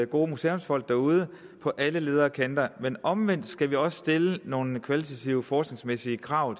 gode museumsfolk derude på alle ledder og kanter men omvendt skal vi også stille nogle kvalitative forskningsmæssige krav